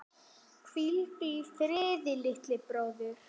Hvíldu friði, litli bróðir.